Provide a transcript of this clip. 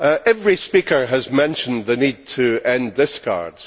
Every speaker has mentioned the need to end discards.